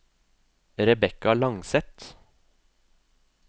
Rebekka Langseth